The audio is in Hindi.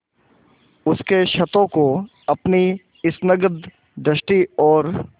उसके क्षतों को अपनी स्निग्ध दृष्टि और